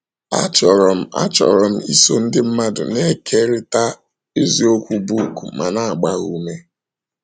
“ Achọrọ m Achọrọ m iso ndị mmadụ na - ekerịta eziokwu book ma na - agba ha ume. ”